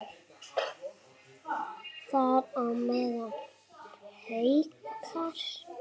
Þar á meðal Haukar.